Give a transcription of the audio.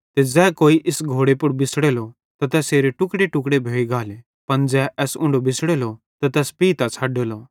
ते ज़ै कोई इस घोड़े पुड़ बिछ़ड़ेलो त तैसेरे टुक्ड़ेटुक्ड़े भोइ गाले पन ज़ै एस उंढो बिछ़ड़ेलो त तैस पइतां छ़डेले